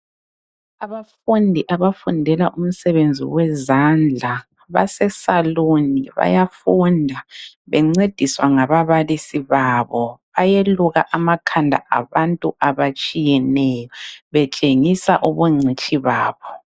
Abafundi abafundela umsebenzi wezandla basesaluni bayafunda bencediswa ngababalisi babo bayeluka amakhanda abantu atshiyeneyo betshengisa ubungcitshi babo.